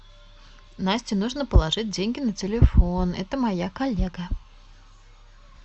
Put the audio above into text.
насте нужно положить деньги на телефон это моя коллега